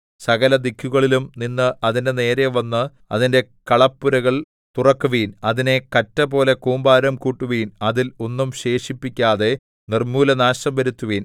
സകലദിക്കുകളിലും നിന്ന് അതിന്റെ നേരെ വന്ന് അതിന്റെ കളപ്പുരകൾ തുറക്കുവിൻ അതിനെ കറ്റപോലെ കൂമ്പാരം കൂട്ടുവിൻ അതിൽ ഒന്നും ശേഷിപ്പിക്കാതെ നിർമ്മൂലനാശം വരുത്തുവിൻ